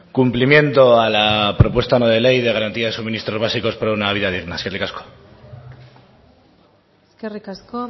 cumplimiento a la propuesta no de ley de garantía de suministros básicos para una vida digna eskerrik asko eskerrik asko